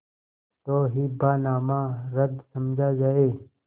तो हिब्बानामा रद्द समझा जाय